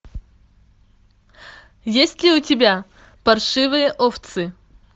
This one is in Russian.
есть ли у тебя паршивые овцы